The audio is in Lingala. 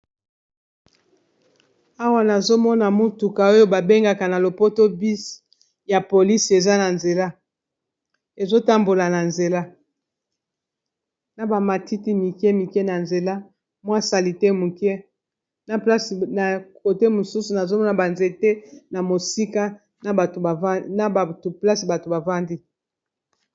Awa nazomona motuka oyo babengaka na lopoto bisi ya polisi eza na nzela, ezotambola na nzela na bamatiti mike mike na nzela mwa salite moke, kote mosusu nazomona banzete na mosika place bato bavandi.